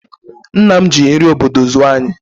Nna m ji nri obodo zụọ anyị